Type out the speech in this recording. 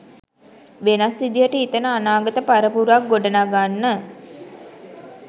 වෙනස් විදිහට හිතන අනාගත පරපුරක් ගොඩනගන්න.